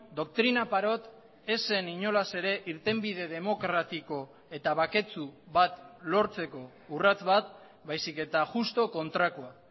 doktrina parot ez zen inolaz ere irtenbide demokratiko eta baketsu bat lortzeko urrats bat baizik eta juxtu kontrakoa